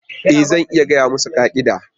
E! Zan iya gaya musu ka'ida.